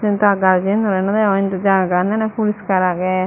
te gach agey nange nange ai indi jagagan ane purishkar agey.